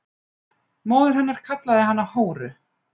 Móðir hennar kallaði hana hóru